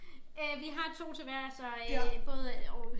Øh vi har 2 til hver så øh både og